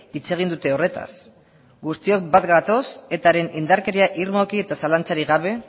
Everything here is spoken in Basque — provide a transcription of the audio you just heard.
hitz egin dute horretaz guztiok bat gatoz etaren indarkeria irmoki eta zalantzarik gabe